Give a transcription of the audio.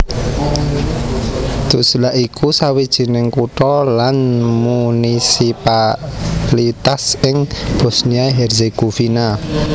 Tuzla iku sawijining kutha lan munisipalitas ing Bosnia Herzegovina